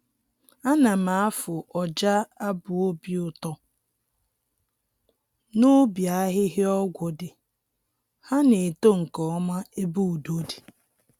Ana m afụ ọja abụ obi ụtọ n'ubi ahịhịa ọgwụ dị, ha na-eto nkeọma ebe udo di.